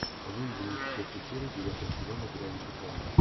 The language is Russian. выведи мне четвертую серию девятого сезона гравити фолз